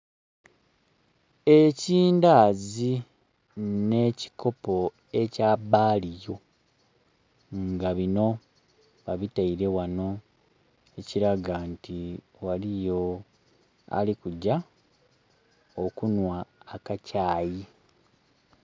Ekindazi ne kikopo ekya baliyo nga bino babiteire wano ekilaga nti waliyo alikugya okunhwa akakyayi.